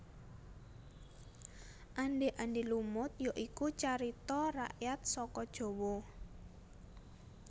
Andhé Andhé Lumut ya iku carita rakyat saka Jawa